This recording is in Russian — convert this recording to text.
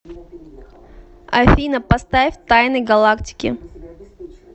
афина поставь тайны галактики